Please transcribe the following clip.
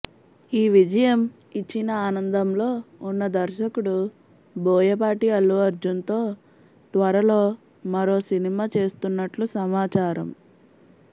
ఈ విజయం ఇచ్చిన ఆనందంలో ఉన్న దర్శకుడు బోయపాటి అల్లు అర్జున్ తో త్వరలో మరో సినిమా చేస్తున్నట్లు సమాచారం